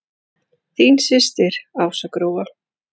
Þín systir Ása Gróa.